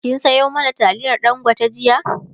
kin Sayo mana taliyar dangote jiya?